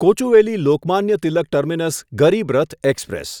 Kochuveli Lokmanya Tilak terminus Garib Rath express